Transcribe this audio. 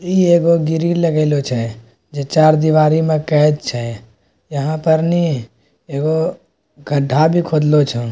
ई एगो ग्रिल लगईलो छै जे चार दिवारी में कैद छै। यहां पर नी एगो गड्ढा भी खोदलो छोन।